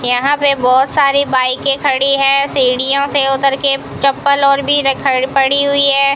यहां पे बहोत सारी बाईकें खड़ी हैं सीढ़ियों से उतर के चप्पल और भी र ख पड़ी हुई है।